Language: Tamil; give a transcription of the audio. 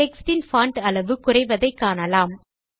டெக்ஸ்ட் யின் பான்ட் அளவு குறைவதை காணலாம்